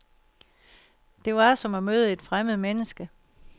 Det var, som at møde et fremmed menneske.